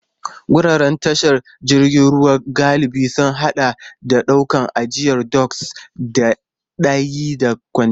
Wuraren tashar jiragen ruwa galibi sun haɗa da ɗakunan ajiya doks, da yadi na kwantena.